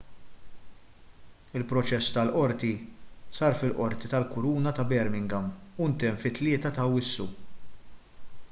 il-proċess tal-qorti sar fil-qorti tal-kuruna ta' birmingham u ntemm fit-3 ta' awwissu